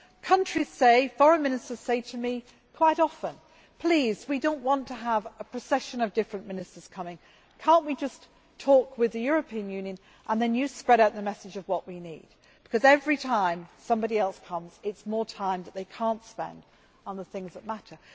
Countries and Foreign Ministers say to me quite often, please, we do not want to have a procession of different ministers coming, can we not just talk with the European Union and then you spread out the message of what we need, because every time somebody else comes it is more time that they cannot spend on the things that matter.